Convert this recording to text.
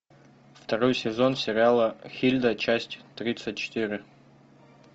второй сезон сериала хильда часть тридцать четыре